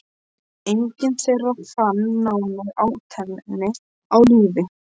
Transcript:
Enginn þeirra fann náin ættmenni á lífi.